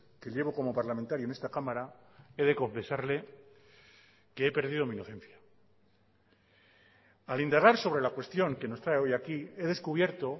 que llevo como parlamentario en esta cámara he de confesarle que he perdido mi inocencia al indagar sobre la cuestión que nos trae hoy aquí he descubierto